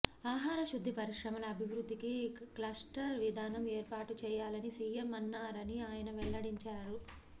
ఆహార శుద్ది పరిశ్రమల అభివృద్దికి క్లస్టర్ విధానం ఏర్పాటు చేయాలని సీఎం అన్నారని ఆయన వెల్లడించారు